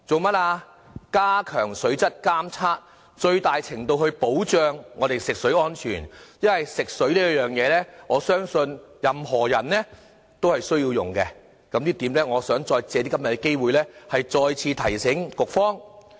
目的是加強水質監測，最大程度地保障我們的食水安全，因為我相信任何人都需要使用食水的，我想藉着今天的機會再次提醒局方。